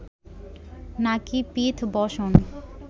নাকি পীথ বসন